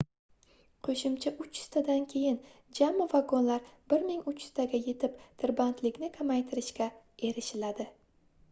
qoʻshimcha 300 tadan keyin jami vagonlar 1300 taga yetib tirbandlikni kamaytiririshga erishiladi